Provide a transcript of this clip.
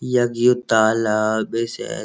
यख ये तालाब बे शायद।